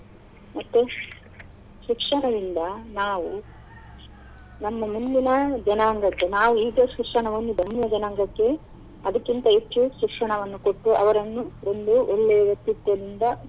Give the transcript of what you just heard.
ಮತ್ತೆ ಶಿಕ್ಷಣದಿಂದ ನಾವು ನಮ್ಮ ಮುಂದಿನ ಜನಾಂಗಕ್ಕೆ ನಾವು ಶಿಕ್ಷಣವನ್ನು ಮುಂದಿನ ಜನಾಂಗಕ್ಕೆ ಅದಕ್ಕಿಂತ ಹೆಚ್ಚು ಶಿಕ್ಷಣವನ್ನು ಕೊಟ್ಟು ಅವರನ್ನು ಒಂದು ಒಳ್ಳೆ ವ್ಯಕ್ತಿತ್ವದಿಂದ.